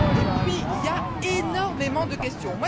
Et puis, il y a énormément de questions.